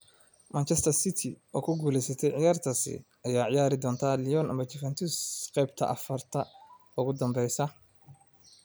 "Manchester City oo guuleysatay ciyaartaas ayaa ciyaari doona Lyon ama Juventus qeybta afarta ugu dambeeya."